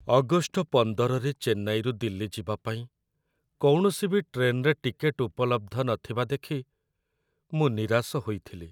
August ୧୫ରେ ଚେନ୍ନାଇରୁ ଦିଲ୍ଲୀ ଯିବା ପାଇଁ କୌଣସି ବି ଟ୍ରେନରେ ଟିକେଟ୍‌ ଉପଲବ୍ଧ ନଥିବା ଦେଖି ମୁଁ ନିରାଶ ହୋଇଥିଲି।